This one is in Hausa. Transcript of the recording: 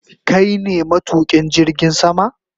Kai ne matukin jirgin sama?